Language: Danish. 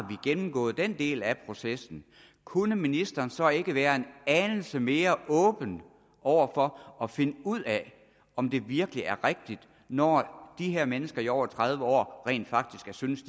gennemgået den del af processen kunne ministeren så ikke være en anelse mere åben over for at finde ud af om det virkelig er rigtigt når de her mennesker i over tredive år rent faktisk har syntes